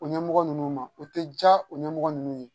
O ɲɛmɔgɔ ninnu ma o tɛ ja o ɲɛmɔgɔ ninnu ye